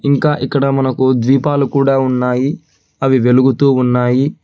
ఇంకా ఇక్కడ మనకు ద్వీపాలు కూడా ఉన్నాయి అవి వెలుగుతూ ఉన్నాయి.